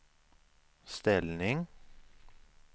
ställning